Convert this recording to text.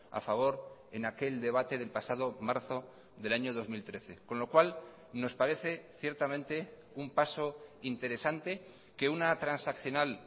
a favor en aquel debate del pasado marzo del año dos mil trece con lo cual nos parece ciertamente un paso interesante que una transaccional